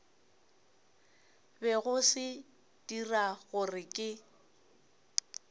bego se dira gore ke